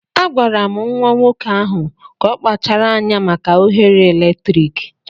Agwara m nwa nwoke ahụ ka ọ kpachara anya maka oghere eletrik.